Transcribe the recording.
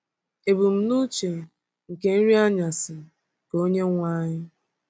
Ebumnuche nke Nri Anyasị nke Onyenwe anyị.